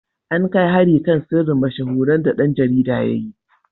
An kai hari kan sirrin mashahuran da ɗan jarida ya yi.